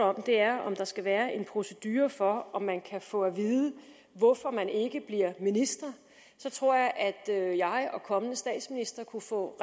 om er om der skal være en procedure for om man kan få at vide hvorfor man ikke bliver minister så tror jeg at jeg og kommende statsministre kunne få